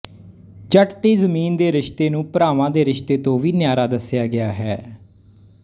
ਜੱਟ ਤੇ ਜ਼ਮੀਨ ਦੇ ਰਿਸ਼ਤੇ ਨੂੰ ਭਰਾਵਾਂ ਦੇ ਰਿਸ਼ਤੇ ਤੋੰ ਵੀ ਨਿਆਰਾ ਦੱਸਿਆ ਗਿਆ ਹੈ